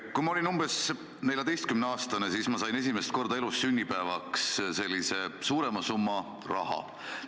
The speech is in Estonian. Kui ma olin umbes 14-aastane, siis ma sain esimest korda elus sünnipäevaks suurema summa raha.